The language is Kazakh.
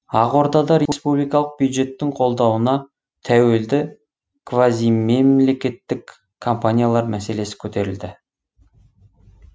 ақордада республикалық бюджеттің қолдауына тәуелді квазимемлекеттік компаниялар мәселесі көтерілді